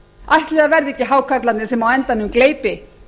ætli það verði ekki hákarlarnir sem á endanum gleypi